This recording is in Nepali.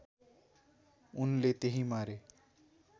उनले त्यहीँ मारे